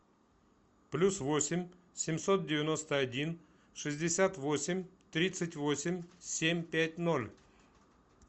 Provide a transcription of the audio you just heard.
плюс восемь семьсот девяносто один шестьдесят восемь тридцать восемь семь пять ноль